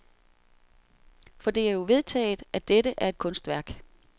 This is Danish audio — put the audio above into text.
For det er jo vedtaget, at dette er et kunstværk.